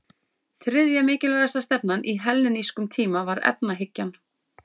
Þriðja mikilvægasta stefnan á hellenískum tíma var efahyggjan.